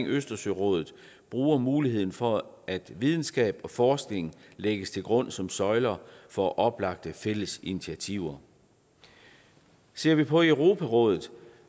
østersørådet bruger muligheden for at videnskab og forskning lægges til grund som søjler for oplagte fælles initiativer ser vi på europarådet